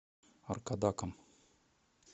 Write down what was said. аркадаком